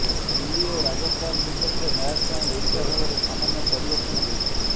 ଦିଲ୍ଲୀ ଓ ରାଜସ୍ଥାନ ବିପକ୍ଷ ମ୍ୟାଚ୍ ପାଇଁ ଓଡ଼ିଶା ଦଳରେ ସାମାନ୍ୟ ପରିବର୍ତ୍ତନ ହୋଇଛି